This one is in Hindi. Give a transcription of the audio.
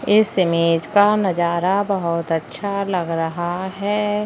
इस इमेज का नजारा बहोत अच्छा लग रहा है।